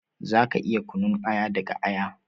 Za ka iya yin kunun aya daga aya.